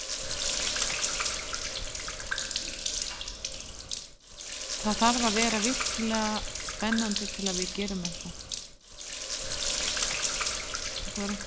Það þarf að vera virkilega spennandi til að við gerum eitthvað.